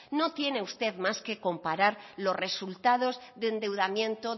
no tiene usted más que comparar los resultados de endeudamiento